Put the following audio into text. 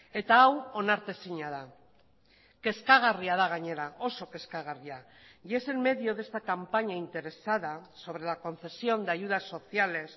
eta hau onartezina da kezkagarria da gainera oso kezkagarria y es el medio de esta campaña interesada sobre la concesión de ayudas sociales